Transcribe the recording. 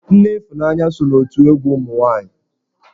Nne Ifunanya so n'otù egwu ụmụ nwaanyi.